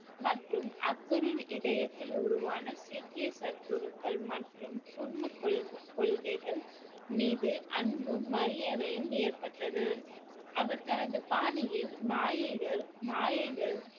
மற்றும் அக்பரின் இதயத்தில் உருவான சீக்கிய சத்குருக்கள் மற்றும் குர்னத் கொள்~ கொள்கைகள் மீது அன்பும் மரியாதையும் ஏற்பட்டது அவர் தனது பாணியில் மாயைகள் மாயைகள்